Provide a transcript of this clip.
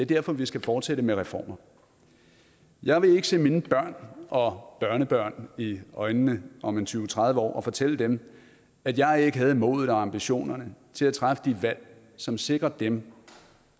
derfor vi skal fortsætte med reformer jeg vil ikke se mine børn og børnebørn i øjnene om tyve til tredive år og fortælle dem at jeg ikke havde modet og ambitionerne til at træffe de valg som sikrer dem